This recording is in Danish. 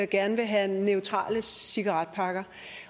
gerne vil have neutrale cigaretpakker